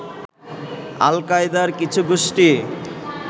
আল-কায়েদার কিছু গোষ্ঠী